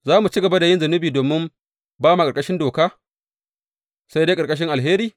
Za mu ci gaba yin zunubi domin ba ma ƙarƙashin doka sai dai ƙarƙashin alheri?